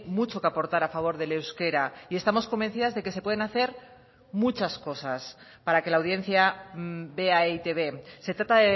mucho que aportar a favor del euskera y estamos convencidas de que se pueden hacer muchas cosas para que la audiencia vea eitb se trata